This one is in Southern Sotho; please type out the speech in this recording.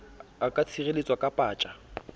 a ka tshireletswa ke paja